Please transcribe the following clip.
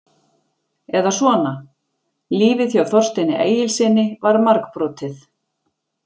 Eða svona: Lífið hjá Þorsteini Egilssyni var margbrotið.